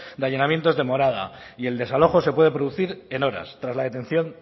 de allanamientos de morada y el desalojo se puede producir en horas tras la detención